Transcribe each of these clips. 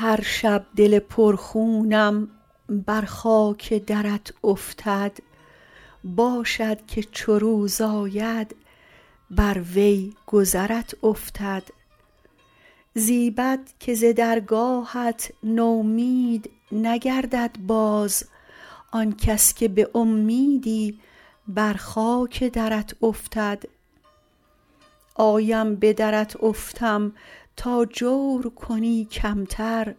هر شب دل پر خونم بر خاک درت افتد باشد که چو روز آید بروی گذرت افتد زیبد که ز درگاهت نومید نگردد باز آن کس که به امیدی بر خاک درت افتد آیم به درت افتم تا جور کنی کمتر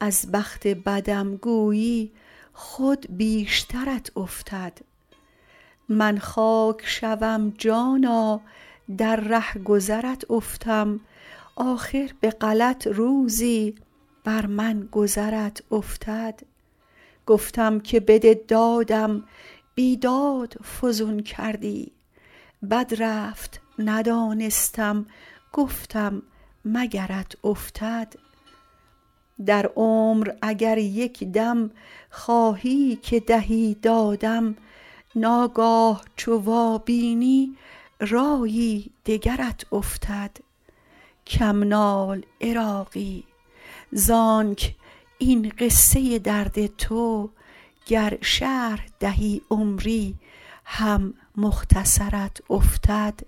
از بخت بدم گویی خود بیشترت افتد من خاک شوم جانا در رهگذرت افتم آخر به غلط روزی بر من گذرت افتد گفتم که بده دادم بیداد فزون کردی بد رفت ندانستم گفتم مگرت افتد در عمر اگر یک دم خواهی که دهی دادم ناگاه چو وابینی رایی دگرت افتد کم نال عراقی زانک این قصه درد تو گر شرح دهی عمری هم مختصرت افتد